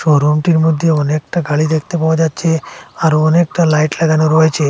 ও রুমটির মধ্যে অনেকটা খালি দেখতে পাওয়া যাচ্ছে আরো অনেকটা লাইট লাগানো রয়েছে।